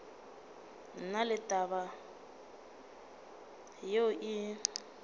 na le taba yeo e